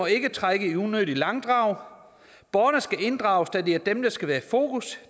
ikke trække unødigt i langdrag borgerne skal inddrages da det er dem der skal være i fokus